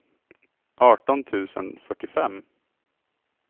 arton tusen fyrtiofem